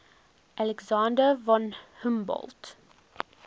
alexander von humboldt